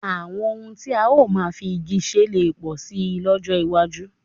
Àwọn ohun tí a ó máa fi igi ṣe lè pọ̀ síi lọ́jọ́ iwájú